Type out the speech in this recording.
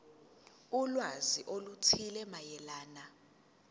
ulwazi oluthile mayelana